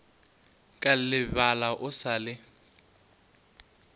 ka lebala o sa le